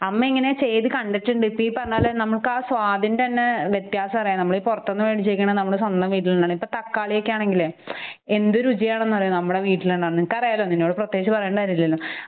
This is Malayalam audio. അമ്മയിങ്ങനെ ചെയ്ത് കണ്ടിട്ടുണ്ട്. ഇപ്പ ഈ പറഞ്ഞപോലെ നമുക്കാ സ്വാദിൻ്റെ തന്നെ വ്യത്യാസഅറിയണം. നമ്മളീ പുറത്തൂന്ന് മേടിച്ച് കഴിക്കണ നമ്മുടെ സ്വന്തം വീട്ടിലുണ്ണണ. ഇപ്പ തക്കാളിയൊക്കെയാണെങ്കിലെ എന്ത് രുചിയാണെന്നറിയൊ നമ്മുടെ വീട്ടിലുണ്ടാകുന്ന നിനക്കറിയാലൊ നിന്നോട് പ്രത്യേകിച്ച് പറയേണ്ട കാര്യല്ലല്ലൊ.